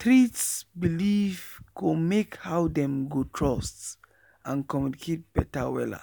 treat believee go make how dem go trust and communicate beta wella.